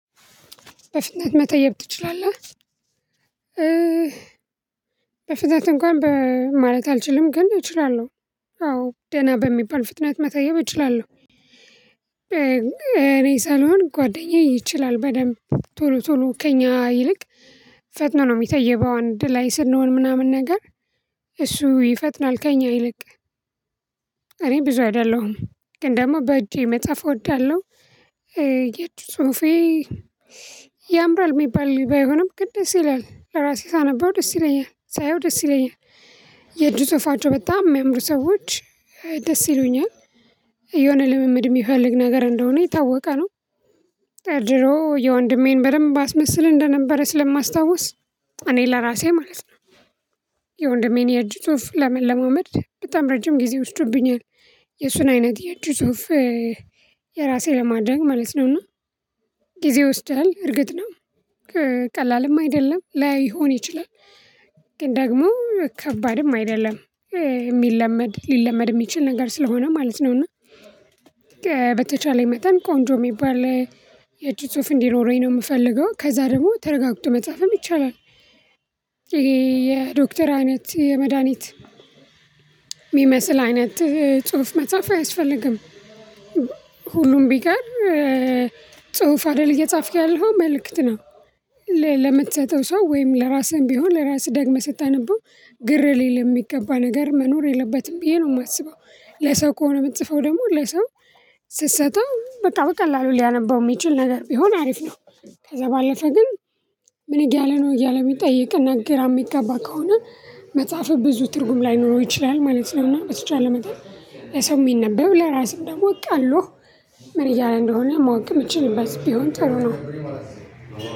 በፍጥነት መተየብ ትችላለህ? በፍጥነት እንኳን በማለት አልችልም ግን እችላለሁ። አዎ ደህና በሚባል ፍጥነት መተየብ እችላለሁ። እኔ ሳልሆን ጓደኛዬ ይችላል በደንብ ቶሎ ቶሎ ከእኛ ይልቅ ፈጥኖ ነው የሚተይበው አንድ ላይ ስንሆን ምናምን ነገር እሱ ይፈጥናል ከእኛ ይልቅ። እኔ ብዙ አይደለሁም ግን ደግሞ በእጄ መጽሐፍ እወዳለሁ። የእጅ ጽሁፌ ያምራል የሚባል ባይሆንም ግን ደስ ይለኛል ለራሴ ሳነበው ደስ ይለኛል ሳየው ደስ ይለኛል። የእጁ ጽሁፋቸው በጣም የሚያምሩ ሰዎች ደስ ይሉኛል። የሆነ ልምምድ የሚፈልግ ነገር እንደሆነ የታወቀ ነው። ድሮ የወንድሜን በደንብ አስመስል እንደነበረ ስለማስታውስ እኔ ለራሴ ማለት ነው። የወንድሜን የእጅ ጽሁፍ ለመለማመድ በጣም ረጅም ጊዜ ወስዶብኛል። የእሱን አይነት የእጁ ጽሁፍ የራሴ ለማድረግ ማለት ነውና ጊዜ ይወስዳል እርግጥ ነው። ቀላልም አይደለም ላይሆን ይችላል። ግን ደግሞ ከባድም አይደለም የሚለመድ ሊለመድ የሚችል ነገር ስለሆነ ማለት ነውና። በተቻለኝ መጠን ቆንጆ የሚባል የእጅ ጽሁፍ እንዲኖረኝ ነው የምፈልገው ከዛ ደግሞ ተረጋግጦ መጻፍም ይቻላል። ይሄ የዶክተር አይነት የመድሃኒት የሚመስል አይነት ጽሁፍ መጽሐፍ አያስፈልግም። ሁሉም ቢቀር ጽሁፍ አይደል እየጻፍክ ያለህው መልእክት ነው። ለምትሰጠው ሰው ወይም ለራስህም ቢሆን ለራስህ ደግመህ ስታነበው ግር ሊል የሚገባ ነገር መኖር የለበትም ብዬ ነው የማስበው ለሰው ከሆነ የምትጽፈው ደግሞ ለሰው ስትሰጠው በቃ በቀላሉ ሊያነበው የሚችል ነገር ቢሆን አሪፍ ነው። ከዛ ባለፈ ግን። ምን እያለ ነው እያለ የሚጠይቅ እና ግራ የሚጋባ ከሆነ መጽሐፍህ ብዙ ትርጉም ላይኖረው ይችላል ማለት ነው። እና በተቻለ መጠን ለሰው የሚነበብ ለራስህም ደግሞ ቀሎህ። ምን እያለ እንደሆነ ማወቅ የምትችልበት ቢሆን ጥሩ ነው።